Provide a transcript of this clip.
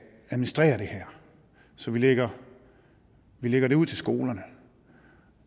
administrere det her så vi lægger lægger det ud til skolerne